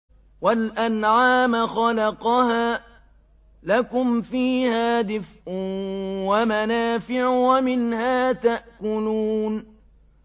وَالْأَنْعَامَ خَلَقَهَا ۗ لَكُمْ فِيهَا دِفْءٌ وَمَنَافِعُ وَمِنْهَا تَأْكُلُونَ